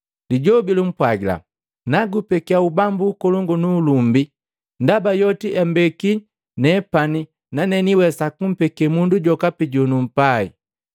Lijobi lumpwagila, “Nagupekia ubambu ukolongu nu ulumbi, ndaba yoti ambeki nepani, nane niwesa kumpeke mundu jokapi jonumpai.